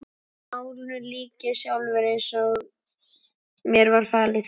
En málinu lýk ég sjálfur, eins og mér var falið.